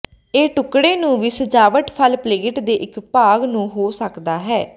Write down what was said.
ਇਹ ਟੁਕੜੇ ਨੂੰ ਵੀ ਸਜਾਵਟ ਫਲ ਪਲੇਟ ਦੇ ਇੱਕ ਭਾਗ ਨੂੰ ਹੋ ਸਕਦਾ ਹੈ